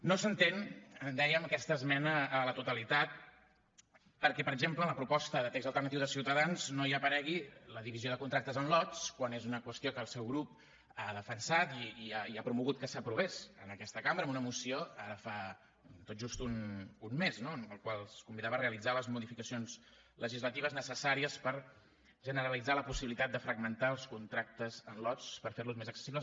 no s’entén dèiem aquesta esmena a la totalitat perquè per exemple en la proposta de text alternatiu de ciutadans no hi aparegui la divisió de contractes en lots quan és una qüestió que el seu grup ha defensat i ha promogut que s’aprovés en aquesta cambra amb una moció ara fa tot just un mes no en la qual es convidava a realitzar les modificacions legislatives necessàries per generalitzar la possibilitat de fragmentar els contractes en lots per fer los més accessibles